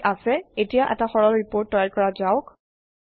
ঠিক আছে এতিয়া এটা সৰল ৰিপৰ্ট তৈয়াৰ কৰা যাওক